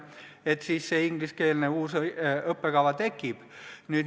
Ja tekibki uus, ingliskeelne õppekava.